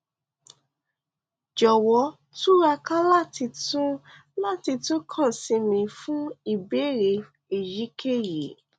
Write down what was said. jọwọ túraká láti tún láti tún kàn sí mi fún ìbéèrè èyíkéyìí